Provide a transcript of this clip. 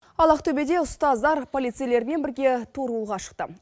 ал ақтөбеде ұстаздар полицейлермен бірге торуылға шықты